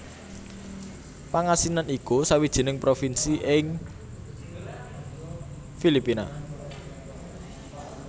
Pangasinan iku sawijining provinsi ing Filipina